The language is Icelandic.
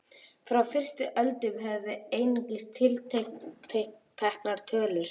Frá fyrstu öldum höfum við einungis tilteknar tölur.